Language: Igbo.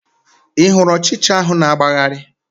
Ị hụrụ ụchịcha ahụ na-agbagharị?